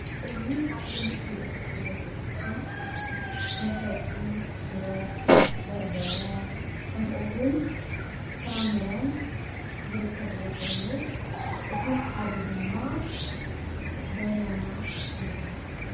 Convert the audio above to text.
እዚ ኣብ ምስሊ እትርእዎ ዘለኹም መሸጢ ሽሮ፣ በርበረ ከምኡ እውን ፍራ ምረን ዝርከብዎ ኮይኑ እቲ ሓደ ድማ በናና ይባሃል።